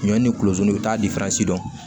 Ɲɔ ni kulodon i bɛ taa dɔn